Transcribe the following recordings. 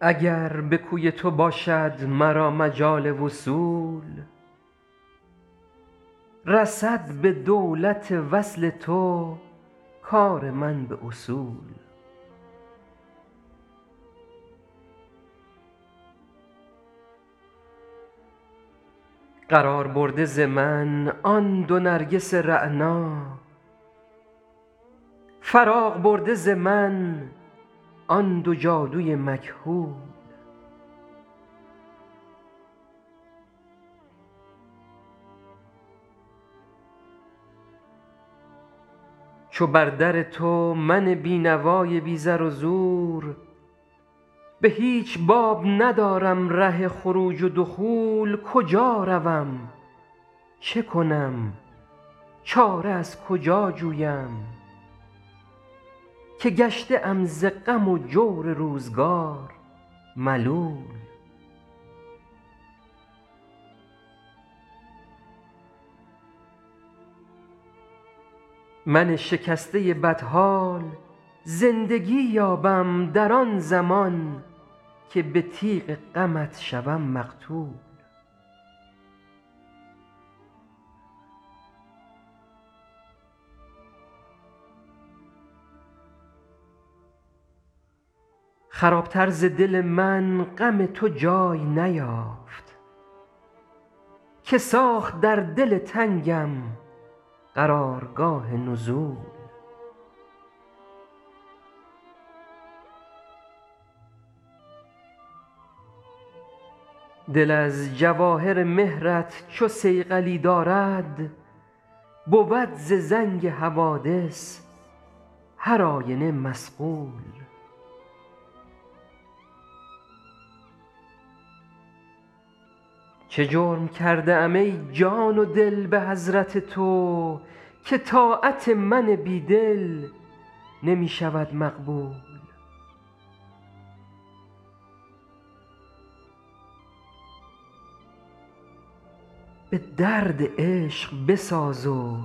اگر به کوی تو باشد مرا مجال وصول رسد به دولت وصل تو کار من به اصول قرار برده ز من آن دو نرگس رعنا فراغ برده ز من آن دو جادو ی مکحول چو بر در تو من بینوا ی بی زر و زور به هیچ باب ندارم ره خروج و دخول کجا روم چه کنم چاره از کجا جویم که گشته ام ز غم و جور روزگار ملول من شکسته بدحال زندگی یابم در آن زمان که به تیغ غمت شوم مقتول خراب تر ز دل من غم تو جای نیافت که ساخت در دل تنگم قرار گاه نزول دل از جواهر مهر ت چو صیقلی دارد بود ز زنگ حوادث هر آینه مصقول چه جرم کرده ام ای جان و دل به حضرت تو که طاعت من بیدل نمی شود مقبول به درد عشق بساز و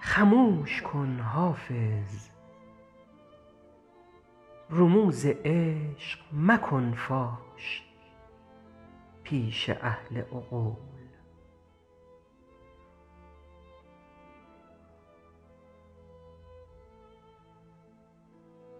خموش کن حافظ رموز عشق مکن فاش پیش اهل عقول